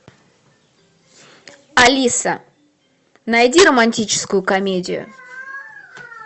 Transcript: алиса найди романтическую комедию